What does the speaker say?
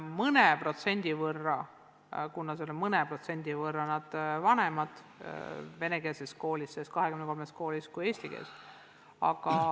Mõne protsendi võrra on õpetajad neis 23 venekeelses koolis vanemad kui eestikeelsetes koolides.